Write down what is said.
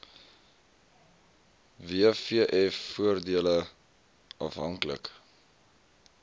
wvf voordele afhanklik